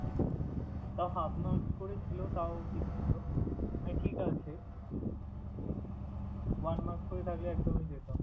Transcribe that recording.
হম তাও half marks করে ছিল, তাও ঠিক ছিলো। তাই ঠিক আছে one marks করে থাকলে একদমই যেতাম।